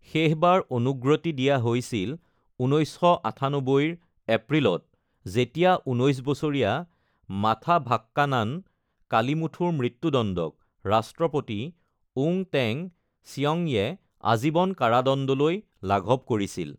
শেষবাৰ অনুগ্ৰতি দিয়া হৈছিল ১৯৯৮ ৰ এপ্ৰিলত যেতিয়া ১৯ বছৰীয়া মাথাভাকান্নান কালিমুথুৰ মৃত্যুদণ্ডক ৰাষ্ট্ৰপতি ওং টেং চিয়ংয়ে আজীবন কাৰাদণ্ডলৈ লাঘৱ কৰিছিল।